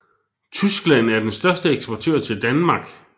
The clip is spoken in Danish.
Tyskland er den største eksportør til Danmark